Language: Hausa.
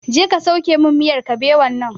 Je ka sauke min miyar kabewan nan!